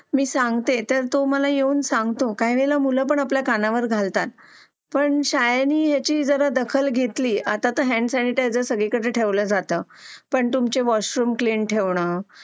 मी सांगते तर तू मला येऊन सांगतो काही वेळेला मुलं पण आपल्या कानावर घालतात पण शाळेने ह्याची जरा दखल घेतली आता आत्ता तर हँड सॅनिटायझर सगळीकडे ठेवले जातात पण तुमचे वॉशरूम क्लीन ठेवन